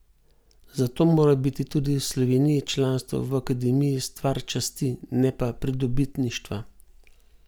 Zato mora biti tudi v Sloveniji članstvo v akademiji stvar časti, ne pa pridobitništva.